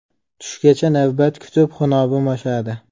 Tushgacha navbat kutib, xunobim oshadi.